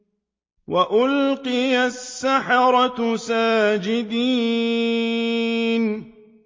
وَأُلْقِيَ السَّحَرَةُ سَاجِدِينَ